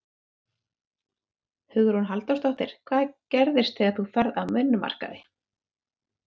Hugrún Halldórsdóttir: Hvað gerist þegar þú ferð af vinnumarkaði?